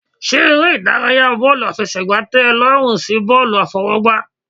Ṣé eré ìdárayá bọ́ọ̀lù àfẹsẹ̀gbá tẹ ọ lọ́rùn sí bọ́ọ̀lù àfọwọ́gbá.